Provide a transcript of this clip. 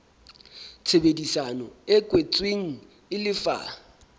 tshebedisano e kwetsweng e lefa